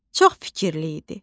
Çox fikirli idi.